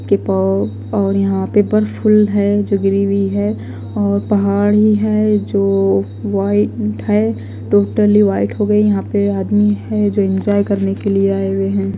के पौ और यहां पे बर्फफुल है जो गिरी हुई है और पहाड़ी है जो वाइट है टोटली वाइट हो गए यहां पे आदमी है जो एंजॉय करने के लिए आए हुए हैं।